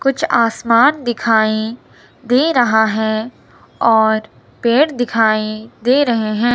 कुछ आसमान दिखाई दे रहा है और पेड़ दिखाई दे रहे हैं।